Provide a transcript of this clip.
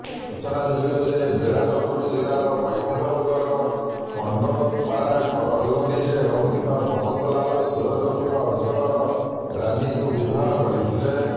ସୂଚନାଯୋଗ୍ୟ ଯେ ବିଳାସପୁର ଜିଲ୍ଲାର ବୈକୁଣ୍ଠପୁରର ପଣ୍ଡୋପାରା କାଲରୀରେ ରହୁଥିବା ବସନ୍ତଲାଲ ସୂରଜପୁର ଅଞ୍ଚଳର ରାନୀଙ୍କୁ ବିବାହ କରିଥିଲେ